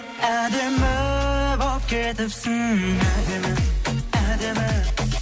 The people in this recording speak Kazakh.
әдемі болып кетіпсің әдемі әдемі